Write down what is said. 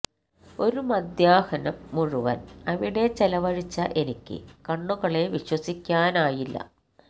ഒരു മധ്യാഹ്നം മുഴുവന് അവിടെ ചെലവഴിച്ച എനിക്ക് കണ്ണുകളെ വിശ്വസിക്കാനായില്ല